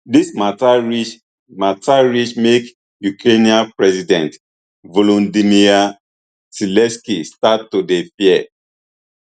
dis mata reach mata reach make ukrainian president volodomyr zelensky start to dey fear